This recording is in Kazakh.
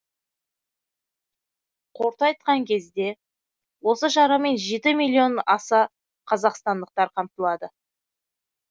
қорыта айтқан кезде осы шарамен жеті миллион аса қазақстандықтар қамтылады